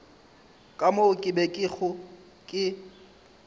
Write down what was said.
ka moo ke bego ke